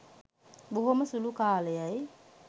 බොහොම සුළු කාලයයි